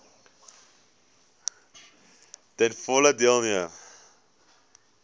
ten volle deelneem